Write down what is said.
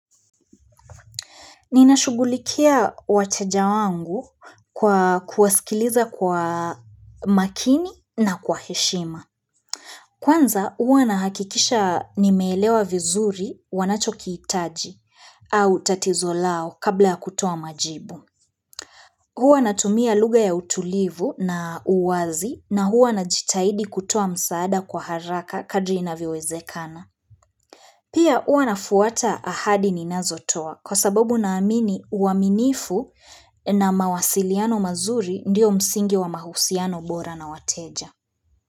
Ninashugulikia wateja wangu kwa kuwasikiliza kwa makini na kwa heshima. Kwanza huwa nahakikisha nimeelewa vizuri wanachokihitaji au tatizo lao kabla kutoa majibu. Kwanza huwa nahakikisha nimeelewa vizuri wanachokihitaji au tatizo lao kabla kutoa majibu. Huwa natumia lugha ya utulivu na uwazi na huwa najitaidi kutoa msaada kwa haraka kadri inavowezekana.